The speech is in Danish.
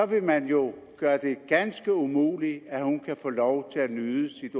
vil man jo gøre det ganske umuligt at hun kan få lov til at nyde sit